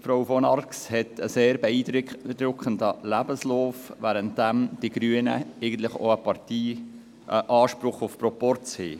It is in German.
Frau von Arx hat einen sehr beeindruckenden Lebenslauf, währenddem die Grünen eigentlich einen Parteianspruch auf Proporz haben.